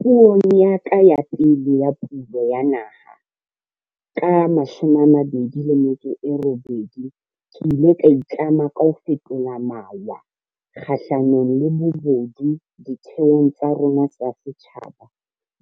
Puong ya ka ya pele ya Pulo ya Naha, ka 2018, ke ile ka itlama ka ho fetola mawa kgahlanong le bobodu ditheong tsa rona tsa setjhaba